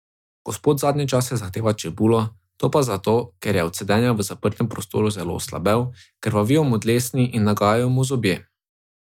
Gospod zadnje čase zahteva čebulo, to pa zato, ker je od sedenja v zaprtem prostoru zelo oslabel, krvavijo mu dlesni in nagajajo mu zobje.